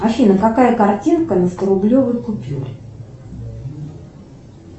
афина какая картинка на сторублевой купюре